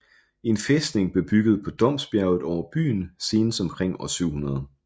En fæstning blev bygget på Domsbjerget over byen senest omkring år 700